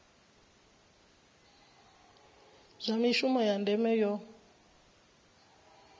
zwa mishumo ya ndeme yo